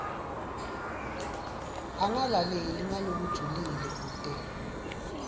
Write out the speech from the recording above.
angalaleli ngalokujulile kute